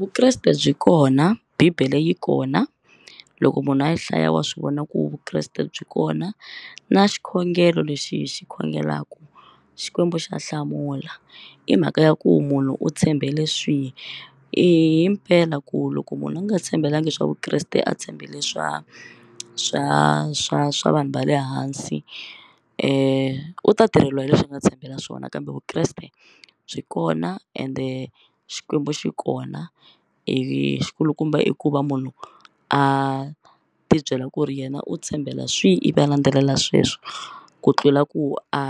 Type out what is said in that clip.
Vukreste byi kona Bibele yi kona loko munhu a hlaya wa swi vona ku Vukreste byi kona na xikhongelo lexi hi xi khongelaka Xikwembu xa hlamula i mhaka ya ku munhu u tshembele swihi himpela ku loko munhu a nga tshembelanga swa Vukreste a tshembele swa swa swa swa vanhu va le hansi u ta tirheliwa hi leswi a nga tshembela swona kambe Vukreste byi kona ende Xikwembu xi kona ivi xikulukumba i ku va munhu a ti byela ku ri yena u tshembela swihi ivi a landzelela sweswo ku tlula ku a